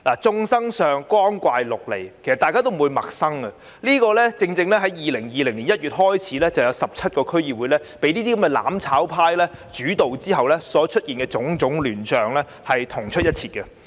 眾生相，光怪陸離，大家已不感陌生，這與自2020年1月有17個區議會被"攬炒派"主導後所出現的種種亂象同出一轍。